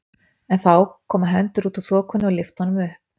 En þá koma hendur út úr þokunni og lyfta honum upp.